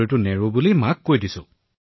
মই কৈছিলো যে নহয় মা মই মোৰ চাকৰি এৰি নিদিও